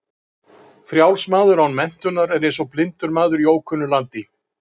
Frjáls maður án menntunar er eins og blindur maður í ókunnu landi.